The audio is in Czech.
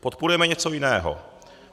Podporujeme něco jiného.